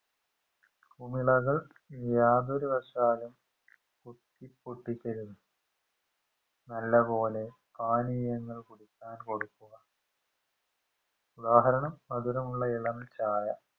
കുമിളകൾ യാതൊരുവശാലും കുത്തി പൊട്ടിക്കരുത് നല്ലപോലെ പാനീയങ്ങൾ കുടിക്കാൻ കൊടുക്കുക ഉദാഹരണം മധുരമുള്ള ഇളം ചായ